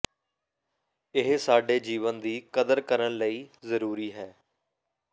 ਇਹ ਸਾਡੇ ਜੀਵਨ ਦੀ ਕਦਰ ਕਰਨ ਲਈ ਜ਼ਰੂਰੀ ਹੈ